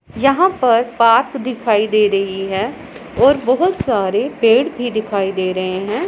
यहां पर पार्क दिखाई दे रही हैं और बहुत सारे पेड़ भी दिखाई दे रहें हैं।